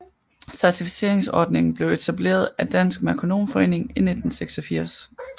Certificeringsordningen blev etableret af Dansk Merkonomforening i 1986